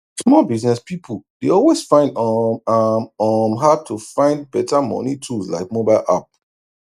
small business pipu dey always find um am um hard to find better moni tools like mobile app